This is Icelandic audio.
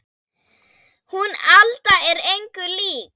Hún Alda er engu lík